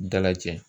Dala cɛ